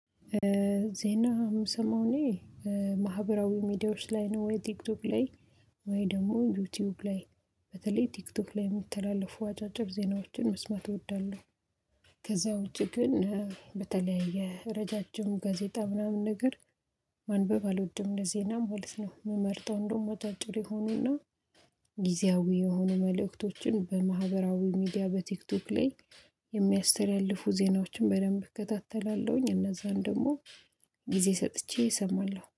ዜና ምስማው እኔ ማህበራዊ ሚዲያዎች ላይ ነው። ወይ ቲክቶክ ላይ፤ ወይ ደግሞ ዩቲዩብ ላይ። በተለይ ቲክቶክ ላይ የሚተላለፉ አጫጭር ዜናዎችን መስማት እወዳለሁ። ከዛ ውጪ ግን በተለይ የረዣዥም ጋዜጣ ምናምን ነገር ማንበብ አልወድም። ለዜናም ሆልስ ምመርጠው እንደውም አጫጭር የሆኑና ጊዜያዊ የሆኑ መልእክቶችን በማህበራዊ ሚዲያ በቲክቶክ ላይ የሚያስተላልፉ ዜናዎችን በደንብ እከታተላለሁኝ። እነዛን ደግሞ ጊዜ ሰጥቼ እሰማለሁ።